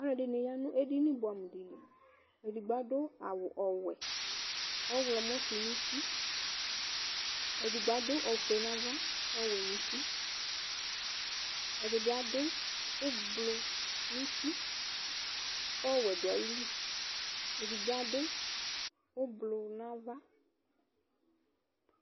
Alu edini ya nu edini buamu di li Edigbo adu awu ɔwɛ ɔɣlɔmɔ su nu uti Edigbo adu ofue nu ava ɔwɛ nu uti Ɛdibi adu ublɔ nu uti ku ɔwɛ du ayili Ɛdibi adu ublɔ nu ava